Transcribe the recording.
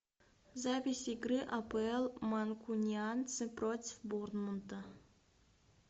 запись игры апл манкунианцы против борнмута